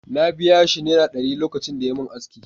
Na biya shi Naira ɗari lokacin da yayi min aski.